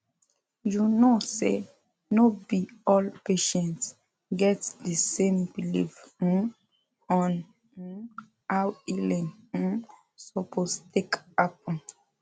you know say no be all patients get the same belief um on um how healing um suppose take happen